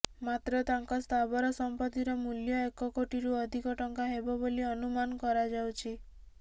ମାତ୍ର ତାଙ୍କ ସ୍ଥାବର ସଂପତ୍ତିର ମୂଲ୍ୟ ଏକ କୋଟିରୁ ଅଧିକ ଟଙ୍କା ହେବ ବୋଲି ଅନୁମାନ କରାଯାଉଛି